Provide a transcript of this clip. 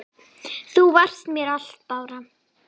Þú varst mér allt, Bára.